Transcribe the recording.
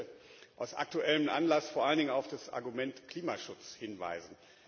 Ich möchte aus aktuellem Anlass vor allen Dingen auf das Argument Klimaschutz hinweisen.